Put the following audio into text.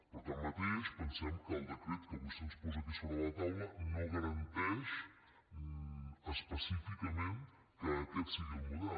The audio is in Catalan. però tanmateix pensem que el decret que avui se’ns posa aquí sobre la taula no garanteix específicament que aquest sigui el model